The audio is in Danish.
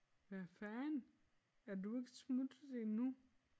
Hvad fanden er du ikke smuttet endnu?